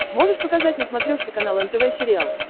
можешь показать на смотрешке канал нтв сериал